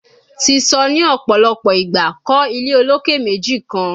Ti sọ ni ọpọlọpọ igba, kọ ile oloke meji kan